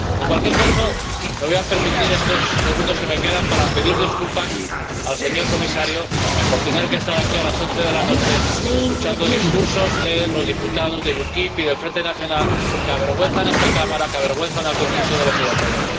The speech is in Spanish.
En cualquier caso, me voy a permitir estos segundos que me quedan para pedir disculpas al señor Comisario por tener que estar aquí a las once de la noche escuchando discursos de los diputados del UKIP y del Frente Nacional, que avergüenzan a esta Cámara, que avergüenzan al conjunto de los europeos.